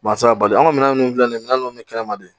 Barisa bari anw ka minɛn ninnu filɛ nin minɛn ninnu bɛ kɛnɛ ma de